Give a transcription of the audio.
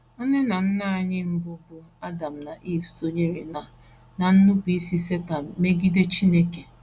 Nne na nna anyị mbụ bụ́ Adam na Iv sonyere ná ná nnupụisi Setan megide Chineke.